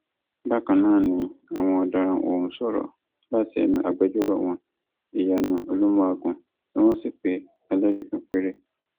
bákan náà ni àwọn ọdaràn ọhún sọrọ láti ẹnu agbẹjọrò wọn ìyanu olùmùàgun tí wọn sì pe ẹlẹrìí kan péré